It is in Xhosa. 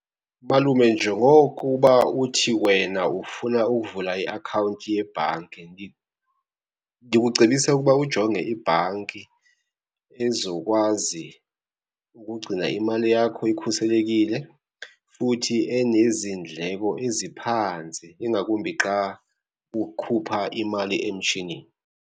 Malume, njengokuba uthi wena ufuna ukuvula iakhawunti yebhanki ndikucebisa ukuba ujonge ibhanki ezokwazi ukugcina imali yakho ikhuselekile futhi enezindleko eziphantsi, ingakumbi xa ukhupha imali emshinini.